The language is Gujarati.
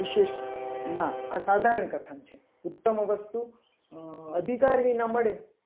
વિશેષમાં આ સાધારણ કથન છે ઉત્તમ વસ્તુ અધિકાર વિના મળે.